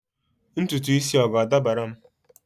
ntutu isi a ọ ga-adabara m?